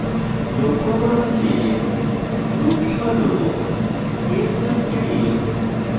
লক্ষ্য করুন যে ruby হল case sensitive